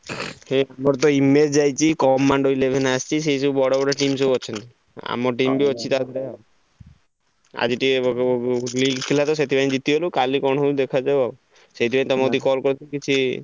ଗୋଟେ image ଆସିଛି commando eleven ଆସିଛି ସେଇ ସବୁ ବଡ ବଡ team ଅଛନ୍ତି ଆମ team ଅଛି ଟା ଧୟେରେ ଆଜି ଟିକେ ଥିଲା ତ ସେଥିପାଇଁ ଜିତିଗଲୁ କଲି କଣ ହଉଛି ଦେଖା ଯାଉ ଆଉ